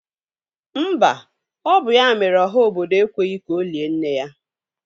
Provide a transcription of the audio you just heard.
Mba, ọ bụ ya mere ọha obodo ekweghi ka olie nne ya.